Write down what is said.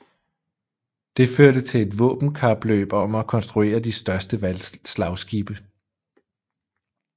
Det førte til et våbenkapløb om at konstruere de største slagskibe